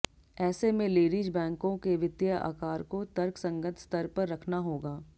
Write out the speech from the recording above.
ऐसे में लेडीज बैंकों के वित्तीय आकार को तर्कसंगत स्तर पर रखना होगा